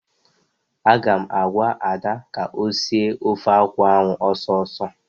Aga m agwa Ada ka o sie ofe akwụ ahụ ọsọ ọsọ!